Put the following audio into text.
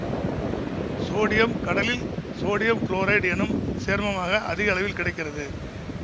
sodium கடலில் sodium chloride என்னும் சேர்மமாக அதிக அளவில் கிடைக்கிறது